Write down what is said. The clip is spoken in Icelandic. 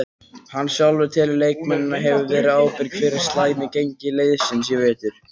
Hann sjálfur telur leikmennina hafa verið ábyrga fyrir slæmi gengi liðsins í vetur.